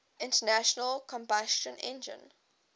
internal combustion engine